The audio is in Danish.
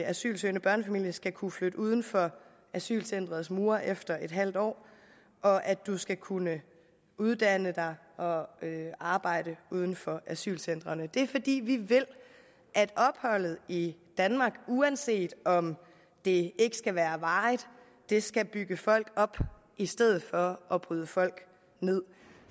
asylsøgende børnefamilie skal kunne flytte uden for asylcenterets mure efter en halv år og at man skal kunne uddanne sig og arbejde uden for asylcentrene det er fordi vi vil at opholdet i danmark uanset om det ikke skal være varigt skal bygge folk op i stedet for at bryde folk med